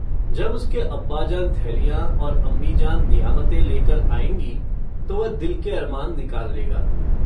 जब उसके अब्बाजान थेलियाँ और अम्मीजान नियामतें लेकर आयेंगी तो वह दिल के अरमान निकाल लेगा।